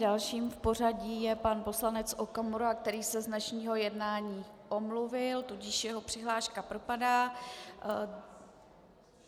Dalším v pořadí je pan poslanec Okamura, který se z dnešního jednání omluvil, tudíž jeho přihláška propadá.